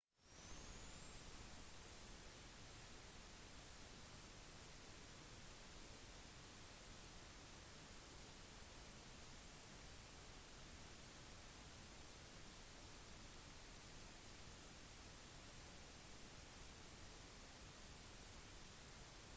twin otteren forsøkte en landing på kokoda i går som airlines png flight cg4684 men da hadde landingen allerede blitt avbrutt en gang